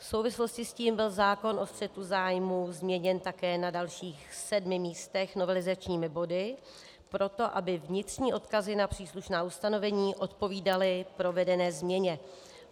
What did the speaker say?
V souvislosti s tím byl zákon o střetu zájmů změněn také na dalších sedmi místech novelizačními body proto, aby vnitřní odkazy na příslušná ustanovení odpovídaly provedené změně.